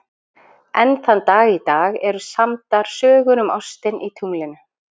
Enn þann dag í dag eru samdar sögur um ostinn í tunglinu.